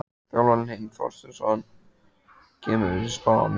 Þjálfarinn: Heimir Þorsteinsson: Kemur þessi spá mér á óvart?